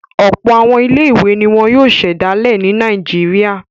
Ọ̀pọ̀ àwọn ilé-ìwé ni wọ́n yóò ṣẹ̀dálẹ̀ ní Nàìjíríà.